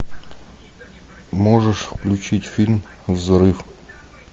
можешь включить фильм взрыв